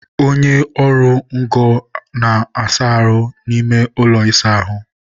onye ọrụ ngo na-asa ahụ n'ime ụlọ ịsa ahụ